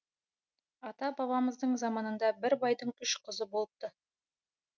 ата бабамыздың заманында бір байдың үш қызы болыпты